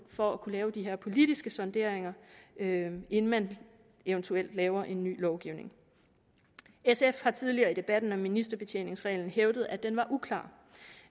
for at kunne lave de her politiske sonderinger inden inden man eventuelt laver en ny lovgivning sf har tidligere i debatten om ministerbetjeningsreglen hævdet at den var uklar